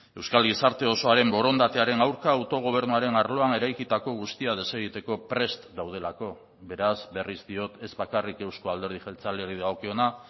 euskal gizarte osoaren borondatearen aurka autogobernuaren arloan eraikitako guztia desegiteko prest daudelako beraz berriz diot ez bakarrik euzko alderdi jeltzaleari dagokiona